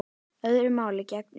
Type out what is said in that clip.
Öðru máli gegndi um mig.